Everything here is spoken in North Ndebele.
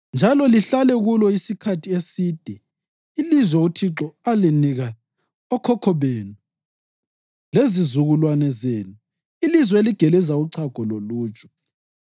njalo lihlale kulo isikhathi eside ilizwe uThixo alinika okhokho benu lezizukulwane zenu, ilizwe eligeleza uchago loluju.